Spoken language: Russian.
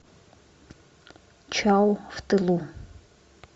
чау в тылу